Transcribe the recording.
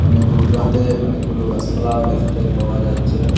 অনেক দূর দূরান্তে অনেকগুলো গাসপালাও দেখতে পাওয়া যাচ্চে।